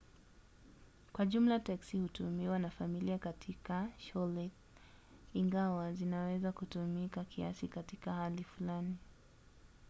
kwa jumla teksi hutumiwa na familia katika charlotte ingawa zinaweza kutumika kiasi katika hali fulani